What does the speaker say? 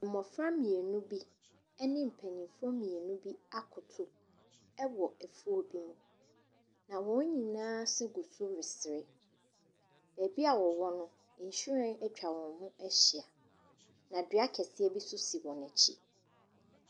Mmofra mmienu bi ɛne mpaninfoɔ mmienu bi akoto ɛwɔ afuo bi mu, na wɔn nyinaa se gu so resere. Baabi wɔwɔ no, nhwiren atwa wɔn ho ahyia, na dua kɛseɛ bi nso si wɔn akyi.